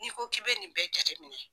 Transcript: Ni ko k'i bɛ nin bɛɛ jateminɛ.